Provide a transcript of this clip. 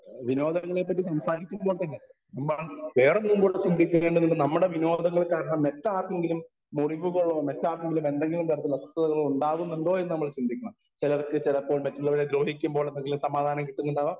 Speaker 1 വിനോദങ്ങളെ പറ്റി സംസാരിക്കുമ്പോൾ തന്നെ വേറെ മുമ്പോട്ട് ചിന്തിക്കേണ്ടതില്ല നമ്മുടെ വിനോദങ്ങൾ കാരണം മറ്റാർക്കെങ്കിലും മുറിവുകളോ മറ്റാർക്കെങ്കിലും എന്തെങ്കിലും തരത്തിലുള്ള അസ്വസ്ഥതകളോ ഉണ്ടാകുന്നുണ്ടോയെന്നു നമ്മൾ ചിന്തിക്കണം. ചിലർക്ക് ചിലപ്പോൾ മറ്റുള്ളവരെ ദ്രോഹിക്കുമ്പോൾ എന്തെങ്കിലും സമാധാനം കിട്ടുന്നുണ്ടാവാം.